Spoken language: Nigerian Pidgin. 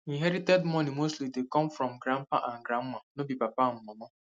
inherited money mostly dey come from grandpa and grandma no be papa and mama